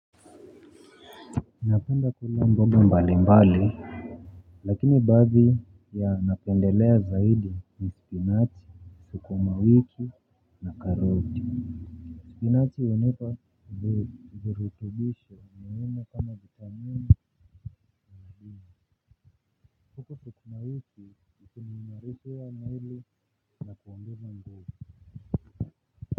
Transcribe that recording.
Inafanda tulangobo mbali mbali. Lakini baadhi ya napendelea zaidi ni spinachi, sukumawiki na karoti. Spinachi hunipa virutubisho muhimu kama vitamini tukumawiki ikini narifu ya maili na kuondeza ndoja.